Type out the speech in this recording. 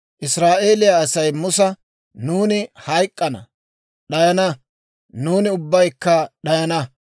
Israa'eeliyaa Asay Musa, «Nuuni hayk'k'ana; d'ayana; nuuni ubbaykka d'ayana!